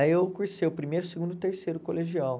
Aí eu cursei o primeiro, o segundo e o terceiro colegial.